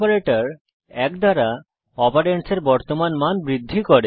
operator এক দ্বারা অপারেন্ডসের বর্তমান মান বৃদ্ধি করে